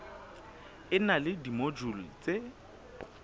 e na le dimojule tse